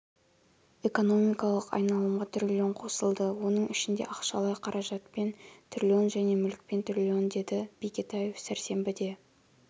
экономикалық айналымға трлн қосылды оның ішінде ақшалай қаражатпен трлн және мүлікпен трлн деді бекетаев сәрсенбіде